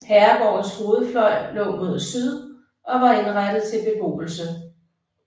Herregårdens hovedfløj lå mod syd og var indrettet til beboelse